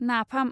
नाफाम